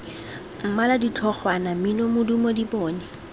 mmala ditlhogwana mmino modumo dipone